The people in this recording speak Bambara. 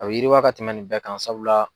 A bɛ yiriwa ka tɛmɛn nin bɛɛ kan sabula